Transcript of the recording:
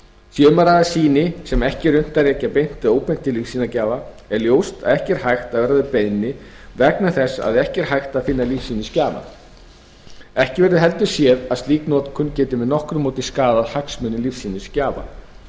sé um að ræða sýni sem ekki er unnt að rekja beint eða óbeint til lífsýnisgjafa er ljóst að ekki er hægt að verða við beiðninni vegna þess að ekki er hægt að finna lífsýnisgjafann ekki verður heldur séð að slík notkun gæti með nokkru móti skaðað hagsmuni lífsýnisgjafa